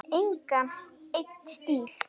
Ég hef engan einn stíl.